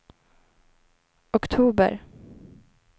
oktober